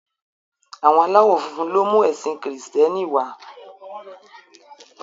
Àwọn aláwọ̀ funfun ló mú ẹ̀sìn kìrììtẹ́nì wá